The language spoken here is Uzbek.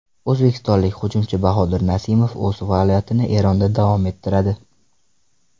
O‘zbekistonlik hujumchi Bahodir Nasimov o‘z faoliyatini Eronda davom ettiradi.